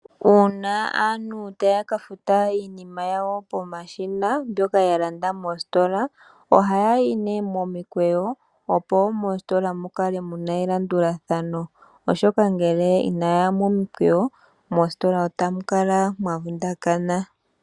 Uuna aantu taya ka futa iinima yawo pomashina mbyoka ya landa mositola. Oha yayi ne momikweyo opo mositola mukale muna elandulathano oshoka ngele Ina yaya momikweyo mositola otamu kala mwa vundakana.